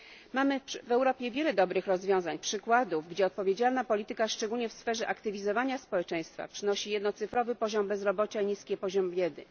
Mamy w Europie wiele dobrych rozwiązań, przykładów, gdzie odpowiedzialna polityka szczególnie w sferze aktywizowania społeczeństwa przynosi jednocyfrowy poziom bezrobocia i niski poziom biedy.